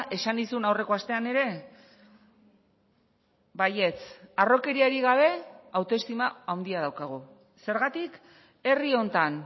esan nizun aurreko astean ere baietz harrokeriarik gabe autoestima handia daukagu zergatik herri honetan